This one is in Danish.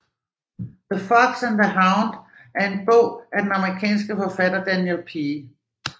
The Fox and the Hound er en bog af den amerikanske forfatter Daniel P